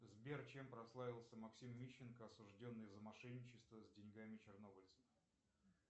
сбер чем прославился максим мищенко осужденный за мошенничество с деньгами чернобыльцев